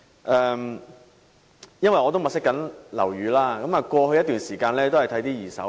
我正在物色樓宇，並在過去一段時間看過不少二手樓宇。